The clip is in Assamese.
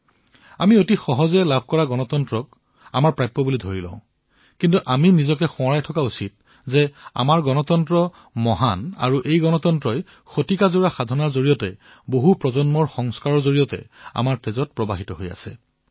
আমি যি বহুমূলীয়া গণতন্ত্ৰ লাভ কৰিছো তাৰ দ্বাৰা অতি সহজে আমি ইয়াক অনুমোদিত বুলি ভাবো কিন্তু আমি নিজৰে সোঁৱৰাই ৰখা আৱশ্যক যে আমাৰ গণতন্ত্ৰ অতি মহান আৰু এই গণতন্ত্ৰই আমাৰ শিৰাত যি স্থান লাভ কৰিছে অতীজৰ সাধনাৰ ফলত প্ৰজন্মজুৰি সংস্কাৰৰ ফলত এক বিশাল ব্যাপক মনৰ অৱস্থাৰ ফলত লাভ কৰিছে